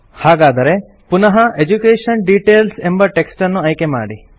ಹಾಗಾದರೆ ಪುನಃ education details ಎಂಬ ಟೆಕ್ಸ್ಟನ್ನು ಆಯ್ಕೆಮಾಡಿ